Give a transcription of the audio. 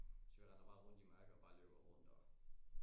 Så vi render bare rundt i mørke og bare løber rundt og